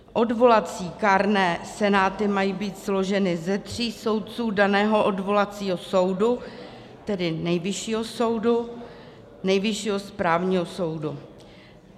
Odvolací kárné senáty mají být složeny ze tří soudců daného odvolacího soudu, tedy Nejvyššího soudu, Nejvyššího správního soudu.